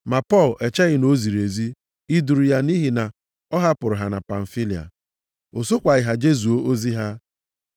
Ma Pọl echeghị na o ziri ezi iduru ya nʼihi na ọ hapụrụ ha na Pamfilia. O sokwaghị ha jezuo ozi ha.